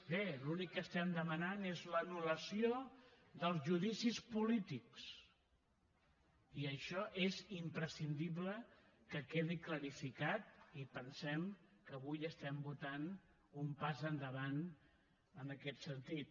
bé l’únic que estem demanant és l’anul·lació dels judicis polítics i això és imprescindible que quedi clar i pensem que avui estem votant un pas endavant en aquest sentit